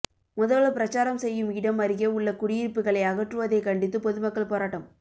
முதல்வர் பிரச்சாரம் செய்யும் இடம் அருகே உள்ள குடியிருப்புகளை அகற்றுவதைக் கண்டித்து பொதுமக்கள் போராட்டம்